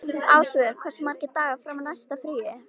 Ásvör, hversu margir dagar fram að næsta fríi?